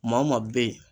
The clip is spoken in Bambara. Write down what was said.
Maa maa bɛ yen